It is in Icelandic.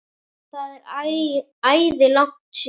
Það er æði langt síðan.